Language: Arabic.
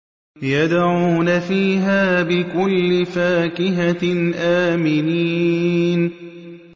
يَدْعُونَ فِيهَا بِكُلِّ فَاكِهَةٍ آمِنِينَ